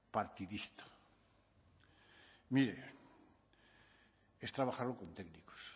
partidista mire es trabajarlo con técnicos